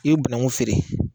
I bi bananku feere